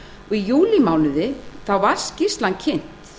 í júlímánuði var skýrslan kynnt